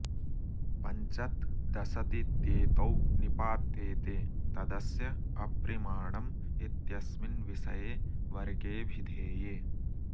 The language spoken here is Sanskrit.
पञ्चत् दशतित्येतौ निपात्येते तदस्य अप्रिमाणम् इत्यस्मिन् विषये वर्गे ऽभिधेये